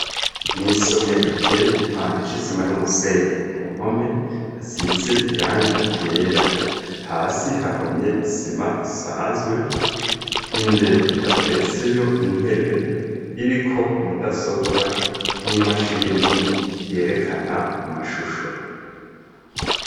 Mw’isomero riteye igipande c'isima n'umusenyi ku mpome hasize irangi ryera hasi hahomye isima isanzwe imbere hateretseyo intebe iriko mudasobwa n'imashini yerekana amashusho.